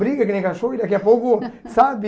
Briga que nem cachorro e daqui a pouco, sabe...